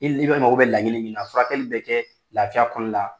I mago bɛ laɲini min na furakɛli be kɛ lafiya kɔnɔna la